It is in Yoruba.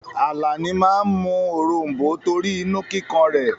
Àlàní máa mú òrom̀bó torí inú kíkan rẹ̀.